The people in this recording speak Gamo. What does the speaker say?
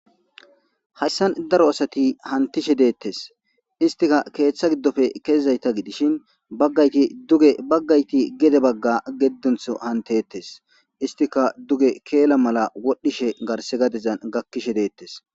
Hayssan daro asati hantishe deettes istika keeththa giddofe kezizayta gidishin baggayti duge baggayti gede bagga geddunththu hantettes istika duge keela mala wodhdhishe garse gadezan gakkishe deettes